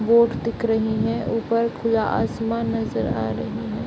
Boat दिख रही है ऊपर खुला आसमान नजर आ रही है।